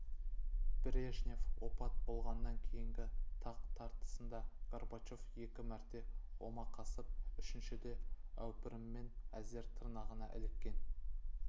брежнев опат болғаннан кейінгі тақ тартысында горбачев екі мәрте омақасып үшіншіде әупіріммен әзер тырнағы іліккен